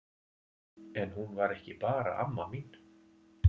En hún var ekki bara amma mín.